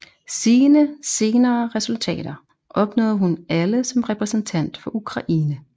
Sine senere resultater opnåede hun alle som repræsentant for Ukraine